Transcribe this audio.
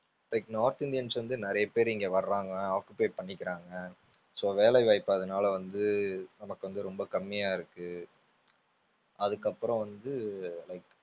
like north Indians வந்து நிறைய பேரு இங்க வர்றாங்க occupy பண்ணிக்கிறாங்க so வேலை வாய்ப்பு அதுனால வந்து நமக்கு வந்து ரொம்ப கம்மியா இருக்கு அதுக்கப்பறம் வந்து like